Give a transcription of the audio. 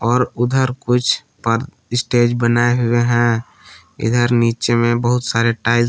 और उधर कुछ पर स्टेज बनाए हुए हैं इधर नीचे में बहुत सारे टाइल --